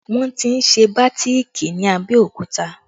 Wọn ti ń ṣe bàátìkì ní Abẹ́òkúta